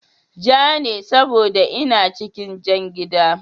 Ja ne saboda ina cikin jan gida